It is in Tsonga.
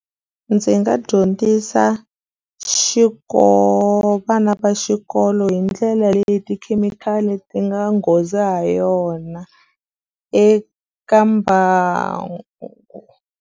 Ndzi nga dyondzisa vana va xikolo hi ndlela leyi tikhemikhali ti nga nghozi ha yona eka mbangu.